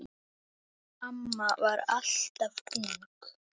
Amma var alltaf ung.